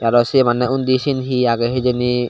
araw se mane undi sen he age hijeni.